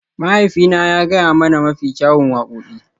Mahaifina ya gaya mana mafi kyawun wakoki.